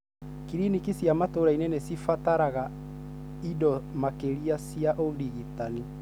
Cliniki cia matũrainĩ nĩcirabatara ĩndo makĩria cia ũrigitani.